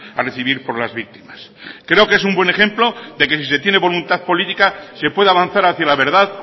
a recibir por las víctimas creo que es un buen ejemplo de que si se tiene voluntad política se puede avanzar hacia la verdad